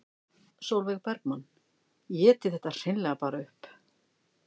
Sólveig Bergmann: Éti þetta hreinlega bara upp?